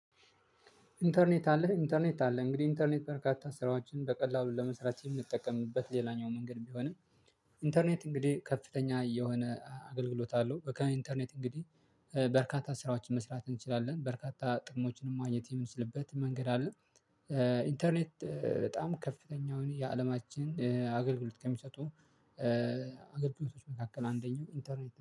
ኢንተርኔት አለህ ኢንተርኔት አለ እንግዲህ ኢንተርኔት በርካታ ስራዎችን በቀላሉ ለመስራት የምንጠቀምበት ሌላኛው መንገድ ቢሆንም። ኢንተርኔት እንግዲህ ከፍተኛ የሆነ አገልግሎት አለው። በቃ ኢንተርኔት እንግዲህ በርካታ ስራዎችን መስራት እንችላለን በርካታ ጥቅሞችንም ማግኘት የምንስልበት መንገድ አለ። ኢንተርኔት በጣም ከፍተኛውን የአለማችን አገልግሎት ከሚሰጡ አገልግሎቶች መካከል አንደኛው ኢንተርኔት ነው